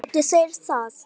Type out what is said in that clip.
Geti þeir það?